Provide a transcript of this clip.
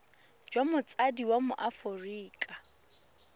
jwa motsadi wa mo aforika